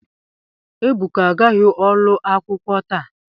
Ebuka agaghi olu akwukwo ta.